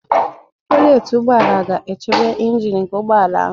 Bonetị ụgbọala ga-echebe ịnjin nke ụgbọala ahụ